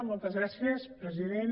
moltes gràcies president